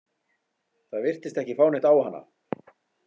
Það virtist ekki fá neitt á hana.